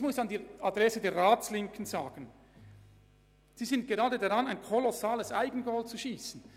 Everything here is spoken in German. An die Adresse der Ratslinken möchte ich Folgendes sagen: Sie sind gerade dabei, ein kolossales Eigentor zu schiessen.